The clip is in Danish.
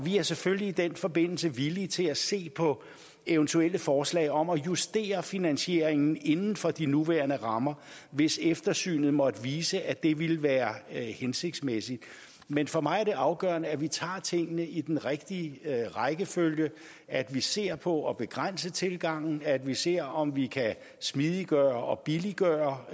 er selvfølgelig i den forbindelse villige til at se på eventuelle forslag om at justere finansieringen inden for de nuværende rammer hvis eftersynet måtte vise at det ville være hensigtsmæssigt men for mig er det afgørende at vi tager tingene i den rigtige rækkefølge at vi ser på at begrænse tilgangen at vi ser om vi kan smidiggøre og billiggøre